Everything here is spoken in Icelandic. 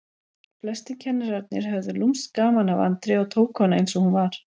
Flestir kennararnir höfðu lúmskt gaman af Andreu og tóku hana eins og hún var.